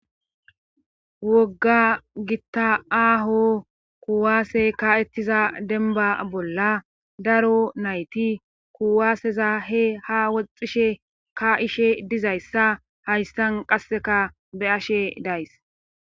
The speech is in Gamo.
Wogga gitta aaho kuwaase ka'ettiza denba bolla daro nayti kuwaaseza he ha woxxishe ka ishe dizayssa haystan qasseka be ashe days.